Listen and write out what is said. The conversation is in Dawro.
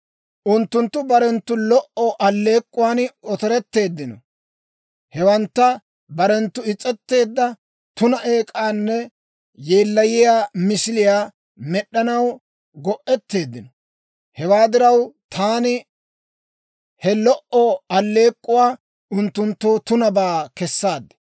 « ‹Unttunttu barenttu lo"o alleek'k'uwan otoretteeddino; hewantta barenttu is's'eteedda tuna eek'anne yeellayiyaa misiliyaa med'd'anaw go'etteeddino. Hewaa diraw, taani he lo"o alleek'k'uwaa unttunttoo tunabaa kessaad.